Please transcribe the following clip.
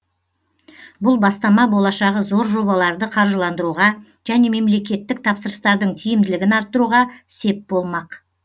бұл бастама болашағы зор жобаларды қаржыландыруға және мемлекеттік тапсырыстардың тиімділігін арттыруға сеп болмақ